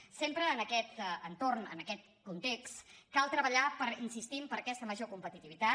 sempre en aquest entorn en aquest context cal tre·ballar hi insistim per aquesta major competitivitat